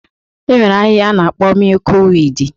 E nwere ahịhịa a na-akpọ mịyụk wiidi.